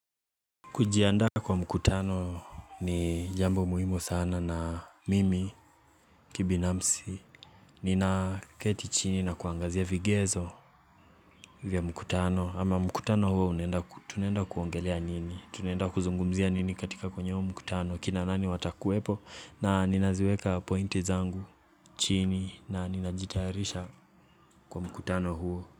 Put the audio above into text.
Kujiandda kwa mkutano ni jambo muhimo sana na mimi kibinamsi ninaketi chini na kuangazia vigezo vya mkutano ama mkutano huo unaenda ku tunaenda kuongelea nini tunenda kuzungumzia nini katika kwenye huo mkutano kina nani watakuwepo na ninaziweka pointi zangu chini na ninajitaharisha kwa mkutano huo.